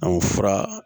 fura